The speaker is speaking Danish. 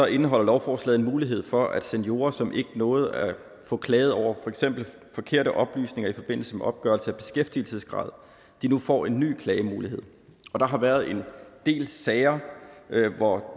indeholder lovforslaget en mulighed for at seniorer som ikke nåede at få klaget over for eksempel forkerte oplysninger i forbindelse med opgørelse af beskæftigelsesgrad nu får en ny klagemulighed der har været en del sager hvor